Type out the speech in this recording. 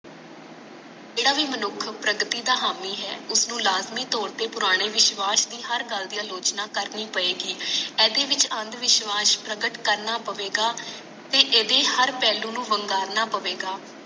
ਜੇਡਾ ਭੀ ਮਨੁੱਖ ਪ੍ਰਗਤੀ ਦਾ ਹਾਮੀ ਹੈ ਉਸਨੂੰ ਲਾਜਮੀ ਤੋਰ ਤੇ ਪੁਰਾਣੇ ਵਿਸ਼ਵਾਸ ਦੀ ਹਰ ਗੱਲ ਦੀ ਆਲੋਚਨਾ ਕਰਨੀ ਪਏਗੀ ਏਦੇ ਵਿੱਚ ਅੰਦਵਿਸ਼ਵਾਸ ਪ੍ਰਗਟ ਕਰਨਾ ਪਵੇਗਾ ਤੇ ਇਹਦੇ ਹਰ ਪਹਿਲੂ ਨੂੰ ਵੰਗਾਰਨਾ ਪਵੇਗਾ